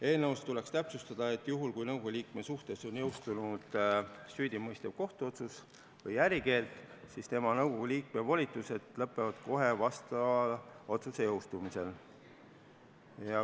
Eelnõus tuleks täpsustada, et juhul kui nõukogu liikme suhtes on jõustunud süüdimõistev kohtuotsus või ärikeeld, siis tema nõukogu liikme volitused lõpevad kohe vastava otsuse jõustumisel.